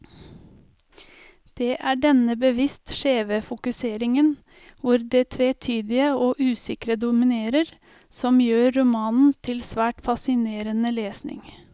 Det er denne bevisst skjeve fokuseringen, hvor det tvetydige og usikre dominerer, som gjør romanen til svært fascinerende lesning.